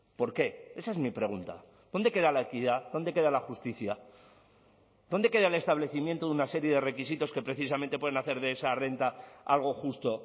por qué esa es mi pregunta dónde queda la equidad dónde queda la justicia dónde queda el establecimiento de una serie de requisitos que precisamente pueden hacer de esa renta algo justo